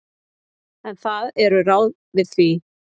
En það eru ráð við því.